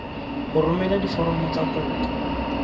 go romela diforomo tsa kopo